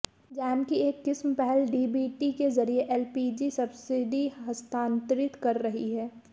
jam की एक किस्म पहल डीबीटी के जरिए एलपीजी सब्सिडी हस्तांतरित कर रही है